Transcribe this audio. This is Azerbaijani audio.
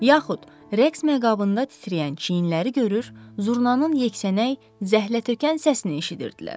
Yaxud rəqs məqabında titrəyən çiyinləri görür, zurnanın yeksənək, zəhlətökən səsini eşidirdilər.